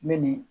Min ni